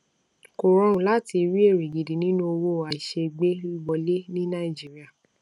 kò rọrùn láti rí èrè gidi nínú owó àìṣeégbé wọlé ní nàìjíríà